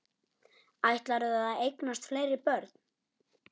Ætlarðu að eignast fleiri börn?